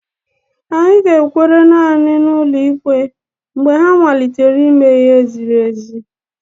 Anyị ga-ekwere naanị na ụlọ ikpe mgbe ha malitere ime ihe ziri ezi.